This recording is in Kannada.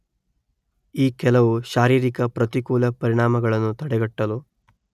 ಈ ಕೆಲವು ಶಾರೀರಿಕ ಪ್ರತಿಕೂಲ ಪರಿಣಾಮಗಳನ್ನು ತಡೆಗಟ್ಟಲು